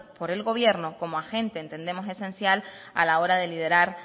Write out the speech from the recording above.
por el gobierno como agente entendemos esencial a la hora de liderar